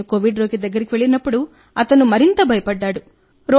నేను కోవిడ్ రోగి దగ్గరికి వెళ్ళినప్పుడు అతను మరింత భయపడ్డాడు